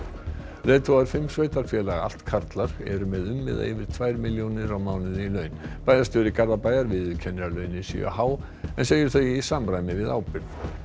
leiðtogar fimm sveitarfélaga allt karlar eru með um eða yfir tvær milljónir á mánuði í laun bæjarstjóri Garðabæjar viðurkennir að launin séu há en segir þau í samræmi við ábyrgð